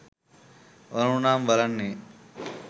ඕන උනාම බලන්නෙ